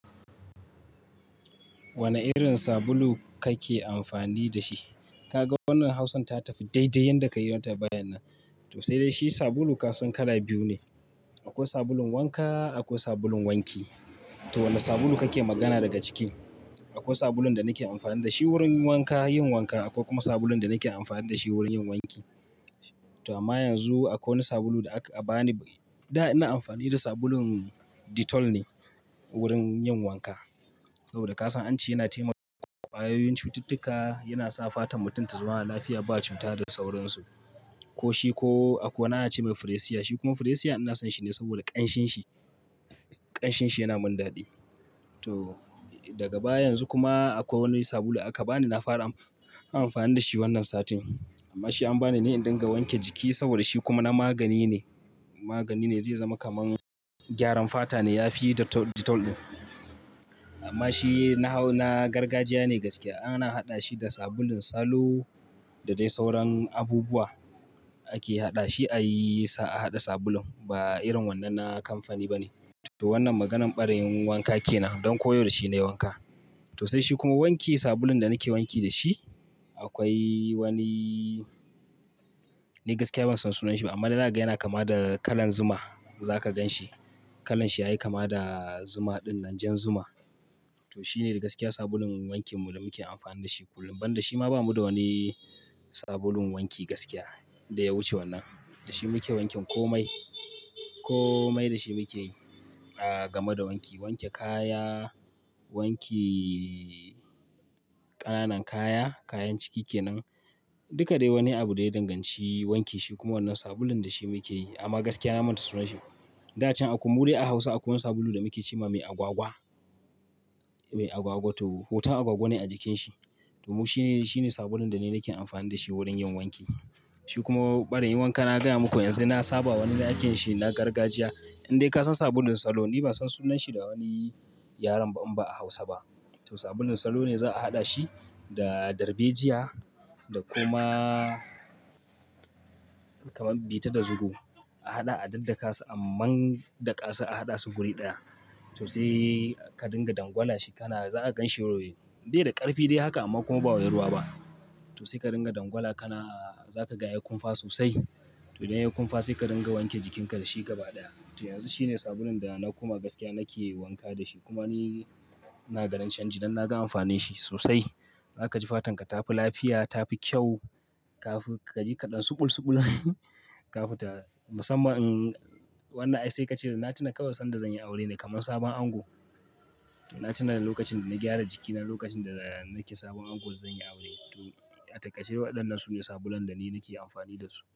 Wane irin sabulu kake amfani da shi? Kaga wannan hausan ta tafi daidai yadda ka yi tambayan nan. To sai dai shi sabulu kasan kala biyu ne. Akwai sabulun wanka, akwai sabulun wanki. To wane sabulu kake magana daga ciki? Akwai sabulun da nake amfani da shi wurin wanka, yin wanka. Akwai kuma sabulun da nake amfani da shi wurin yin wanki. To amma yanzu akwai wani sabulu da aka ba ni. Da ina amfani da sabulun Dettol ne wurin yin wanka. Saboda ka san ance yana taimaka wa wayoyin cututtuka, yana sa fatan mutum ta zama lafiya, ba cuta da saurinsu. Ko shi ko akwai wani ana ce min Fair Asia. Shi kuma Fair Asia ina son shi ne saboda ƙanshinshi. Ƙanshinshi yana mun dadi. To daga baya yanzu kuma akwai wani sabulu aka ba ni. Na fara amfani da shi wannan satin. Amma shi an ba ni ne don na wanke jiki saboda shi kuma na magani ne. Magani ne zai zama kamar gyaran fata ne yafi Dettol ɗin. Amma shi na gargajiya ne gaskiya. Ana haɗa shi da sabulun salo da dai sauran abubuwa ake haɗa shi. A yi sa a haɗa sabulun. Ba irin wannan na kamfani ba ne. To wannan maganan ɓarayin wanka ke nan don koh yau dashi nayi wanka. To sai shi kuma wanke sabulun da nake wanki da shi. Akwai wani ni gaskiya ban san sunan shi ba amma na gani yana kama da kalan zuma. Za ka gan shi. Kalanshi yayi kama da zuma ɗin, nan jan zuma. To shine gaskiya sabulun wankin mu da muke amfani da shi kullum. Ban da shi ma babu wani sabulun wanki gaskiya da ya wuce wannan. Da shi muke wankin komai. Komai da shi muke yi game da wanki. Wanke kaya, wanke ƙananan kaya, kayan ciki ke nan. Duka dai wani abu da ya danganci wanki shi kuma wannan sabulun da shi muke yi. Amma gaskiya na manta sunan shi. Da can a ƙum a Hausa akwai wani sabulu da muke cewa mai agwagwa. Mai agwagwa to hoton agwagwa ne a jikin shi. To mu shine, shine sabulun da ni nake amfani da shi wurin yin wanki. Shi kuma ɓarin wanka na gaya muku yanzu na saba wani na aikin shi na gargajiya. Indai ka san sabulun salo. Ni ba san sunan shi da wani yaren ba, inba a Hausa ba. To sabulun salo ne za a haɗa shi da darbejiya da kuma kamar bita da zuro a haɗa, a daddaka su. Amman daƙa su, a haɗa su guri ɗaya. To sai ka dinga dangwala shi. Kana za ka gan shi bai da ƙarfi dai haka amma kuma ba wai ruwa ba. To sai ka dinga dangwala kana zaka ga yayi ƙunfa sosai. To idan ya ƙunfa sai ka dinga wanke jikinka da shi gaba ɗaya. To yanzu shine sabulun da na kuma gaskiya nake wanka da shi. Kuma ni na ganin canji dan na ga amfanin shi sosai. Za ka ji fatan ka ta fi lafiya, ta fi kyau. Ka jika ɗan suɓul suɓul. Kafinta musamman wannan ai sai ka ce na tuna kawai san da zan yi aure ne kamar sabon ango. Na tuna da lokacin da na gyara jikina lokacin da nake sabon ango zan yi aure. To a takardun waɗannan su ne sabulun da ni nake amfani da su.